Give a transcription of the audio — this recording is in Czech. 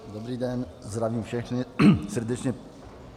Dobrý den, zdravím všechny srdečně.